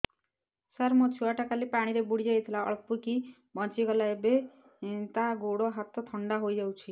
ସାର ମୋ ଛୁଆ ଟା କାଲି ପାଣି ରେ ବୁଡି ଯାଇଥିଲା ଅଳ୍ପ କି ବଞ୍ଚି ଗଲା ଏବେ ତା ଗୋଡ଼ ହାତ ଥଣ୍ଡା ହେଇଯାଉଛି